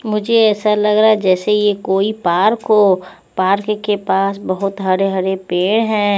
मुझे ऐसा लग रहा है जैसे ये कोई पार्क हो पार्क के पास बहोत हरे हरे पेड़ है।